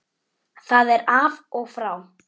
Það er af og frá.